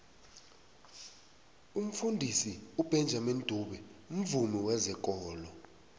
umfundisi ubenjamini dube mvumi wezekolo